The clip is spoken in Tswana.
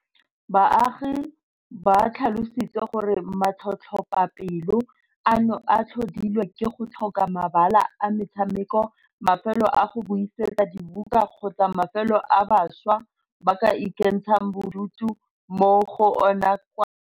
Baagi ba tlhalositse gore matlhotlhapelo ano a tlhodilwe ke go tlhoka mabala a metshameko, mafelo a go buisetsa dibuka kgotsa mafelo a bašwa ba ka ikentshang bodutu mo go ona kwa Scenery Park.